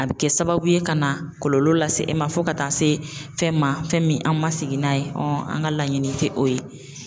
A bɛ kɛ sababu ye ka na kɔlɔlɔ lase e ma fo ka taa se fɛn ma fɛn min an ma sigi n'a ye an ka laɲini tɛ o ye.